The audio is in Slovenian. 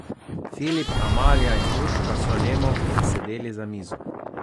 Filip, Amalija in Urška so nemo obsedeli za mizo.